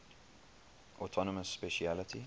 autonomous specialty